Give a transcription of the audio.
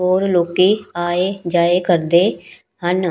ਔਰ ਲੋਕੀ ਆਏ ਜਾਏ ਕਰਦੇ ਹਨ।